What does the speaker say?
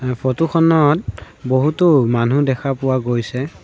Photo খনত বহুতো মানুহ দেখা পোৱা গৈছে।